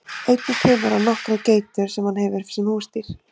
Einnig temur hann nokkrar geitur sem hann hefur sem húsdýr.